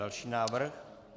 Další návrh.